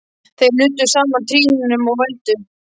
Þeir nudduðu saman trýnunum og vældu.